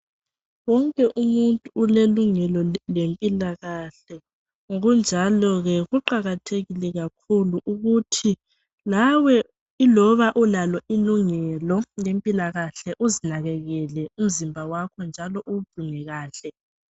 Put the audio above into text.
Wonke umuntu ulelungelo lempilakahle ngokunjalo ke kuqakathekile kakhulu ukuthi lawe iloba ulalo ilungelo lempilakahle uzinakekele umzimba wakho njalo uwugcine kahle